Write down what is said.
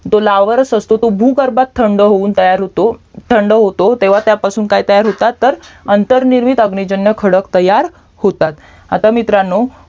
जो लावरस असतो तो भुगर्भात थंड होऊन तयार होतो थंड होतो तेव्हा त्यापासून काय तयार होतात तर अंतरनिर्मित अग्निजन्य खडक तयार होतात आता मित्रानो